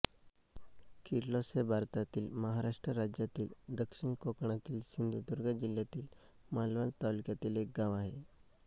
किर्लोस हे भारतातील महाराष्ट्र राज्यातील दक्षिण कोकणातील सिंधुदुर्ग जिल्ह्यातील मालवण तालुक्यातील एक गाव आहे